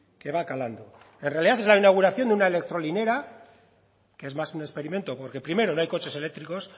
que va calando en realidad es la inauguración de una electrolinera que es más un experimento porque primero no hay coches eléctricos